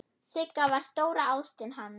Sigga var stóra ástin hans.